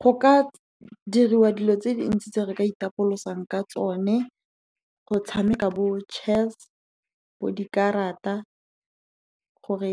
Go ka diriwa dilo tse dintsi tse re ka itapolosang ka tsone, go tshameka bo chess, dikarata, gore